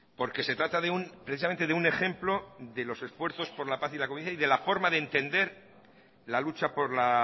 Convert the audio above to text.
porque se trata precisamente de un ejemplo de los esfuerzos de la paz y convivencia y de la forma de entender la lucha por la